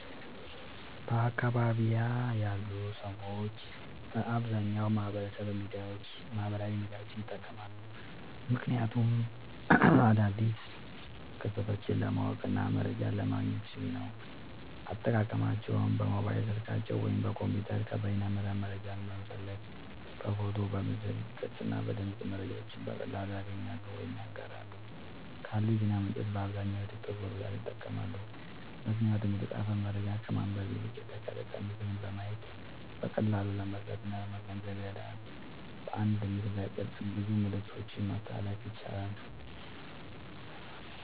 በአካባቢየ ያሉ ሰዎች በአብዛኛዉ ማህበራዊ ሚዲያዎችን ይጠቀማሉ። ምክንያቱም አዳዲስ ክስተቶችን ለማወቅና መረጃ ለማግኘት ሲሉ ነዉ። አጠቃቀማቸዉም በሞባይል ስልካቸዉ ወይም በኮምፒዉተር ከበይነመረብ መረጃን በመፈለግ በፎቶ፣ በምስል ቅርጽ እና በድምጽ መረጃዎችን በቀላሉ ያገኛሉ ወይም ያጋራሉ። ካሉ የዜና ምንጮች በአብዛኛዉ ቲክቶክን በብዛት ይጠቀማሉ። ምክንያቱም የተጻፈ መረጃን ከማንበብ ይልቅ የተቀረጸ ምስልን በማየት በቀላሉ ለመረዳትእና ለመገንዘብ ይረዳል። በአንድ ምስልቅርጽ ብዙ መልክቶችን ማስተላለፍ ያስችላል።